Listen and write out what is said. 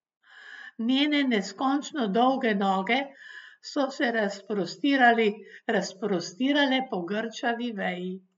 Njene neskončno dolge noge so se razprostirale po grčavi veji.